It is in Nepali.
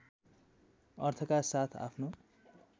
अर्थका साथ आफ्नो